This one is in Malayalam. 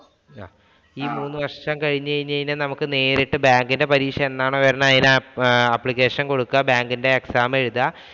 ഈ മൂന്നുവർഷം കഴിഞ്ഞ് കഴിഞ്ഞാല്‍ നമുക്ക് നേരിട്ട് bank ഇന്‍റെ പരീക്ഷ എന്നാണോ വരുന്നേ അതിനു application കൊടുക്കുക. Bank ഇന്‍റെ exam എഴുതുക.